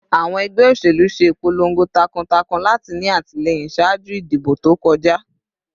Awọn ẹgbẹ oṣelu ṣe ipolongo takuntakun lati ni atilẹyin ṣaaju idibo to kọja